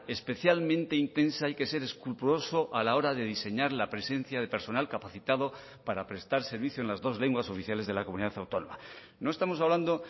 especialmente intensa hay que ser escrupuloso a la hora de diseñar la presencia de personal capacitado para prestar servicio en las dos lenguas oficiales de la comunidad autónoma no estamos hablando